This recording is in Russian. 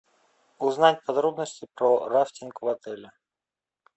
узнать подробности про рафтинг в отеле